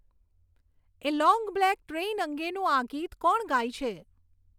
એ long black train અંગેનું આ ગિત કોણ ગાય છે